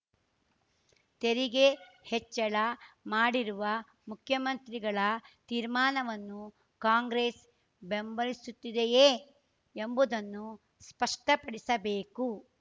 ತೆರಿಗೆ ಹೆಚ್ಚಳ ಮಾಡಿರುವ ಮುಖ್ಯಮಂತ್ರಿಗಳ ತೀರ್ಮಾನವನ್ನು ಕಾಂಗ್ರೆಸ್‌ ಬೆಂಬಲಿಸುತ್ತದೆಯೇ ಎಂಬುದನ್ನು ಸ್ಪಷ್ಟಪಡಿಸಬೇಕು